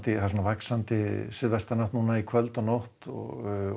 það er vaxandi suðaustanátt í kvöld og nótt og